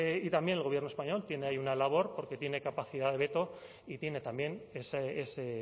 y también el gobierno español tiene ahí una labor porque tiene capacidad de veto y tiene también ese